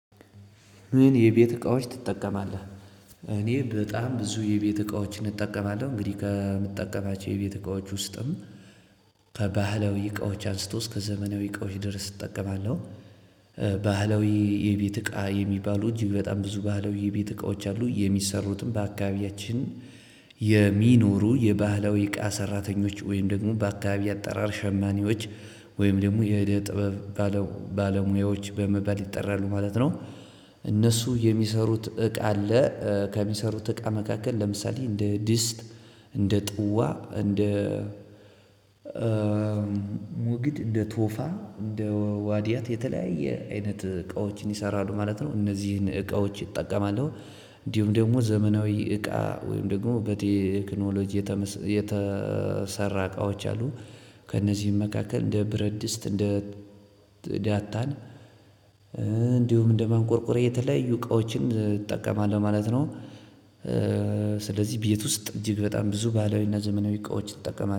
ምን የቤት እቃዎች ትጠቀማለህ? እኔ በጣም ብዙ የቤት እቃዎችን እጠቀማለሁ እንግዲህ ከምጠቀማቸው የቤት እቃዎች ውስጥም ከባህላዊ እቃዎች አንስቶ እስከ ዘመናዊ እቃዎች ድረስ እጠቀማለሁ። ባህለዊ የቤት እቃ የሚባሉ እጅግ በጣም ብዙ ባህለዊ የቤት እቃዎች አሉ የሚሰሩትም በአካባቢያችን። የሚኖሩ የባህላዊ እቃ ሰራተኞች ወይም ደግሞ በአካባቢ አጠራር ሸማኔዎች ወይም ደግሞ የጥበብ ባለሙያዎች በመባል ይጠራሉ ማለት ነው። እነሱ የሚሰሩት እቃ አለ ከሚሰሩት እቃ መካከል ለምሳሌ እንደ ድስት እንደ ጥዋ እንደ ሙግድ እንደ ቶፋ እንደ ዋድያት የተለያየ አይነት እቃዎችን ይሰራሉ ማለት ነው እነዚህን እቃዎች ይጠቀማለሁ። እንዲሁም ደግሞ ዘመናዊ እቃ ወይም ደግሞ በቴክኖሎጂ የተሰራ እቃዎች አሉ። ከእነዚህም መካከል እንደ ብረድስት እንደ ዳታን እንዲሁም እንደማንቆርቆሪያ የተለያዩ እቃዎችን እጠቀማለሁ ማለት ነው። ስለዚህ ቤት ውስጥ እጅግ በጣም ብዙ ባህለዊና ዘመናዊ እቃዎች እጠቀማለሁ